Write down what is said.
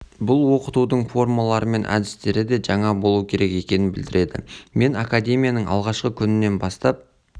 бұл оқытудың формалары мен әдістері де жаңа болу керек екенін білдіреді мен академияның алғашқы күнінен бастап